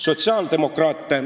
" Palun lisaaega!